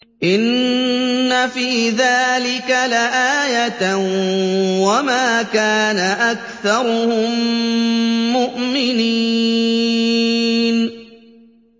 إِنَّ فِي ذَٰلِكَ لَآيَةً ۖ وَمَا كَانَ أَكْثَرُهُم مُّؤْمِنِينَ